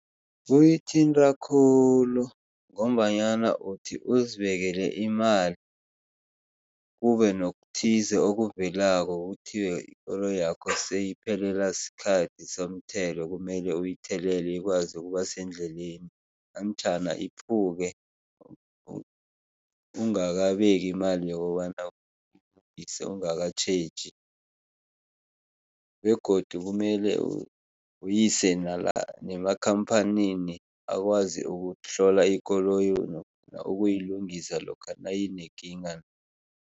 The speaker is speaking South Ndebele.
Uyithinta khulu ngombanyana uthi uzibekele imali kube nokuthize okuvelelako, kuthiwe ikoloyakho seyiphelelwa sikhathi somthetho kumele uyithelele ikwazi ukuba sendleleni namtjhana iphuke ungakabeki imali yokobana ungakatjheji begodu kumele uyise nemakhampanini akwazi ukuhlola ikoloyi ukuyilungisa lokha nayinekinga.